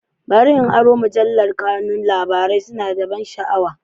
Bari in aron wannan mujallar, kanun labarai suna da ban sha'awa.